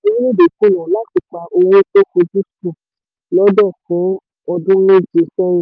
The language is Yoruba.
orílẹ̀-èdè kùnà orílẹ̀-èdè kùnà láti pa owó tó fojúsùn lọ́dún fún ọdún méje sẹ́yìn.